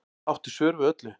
Áttu svör við öllu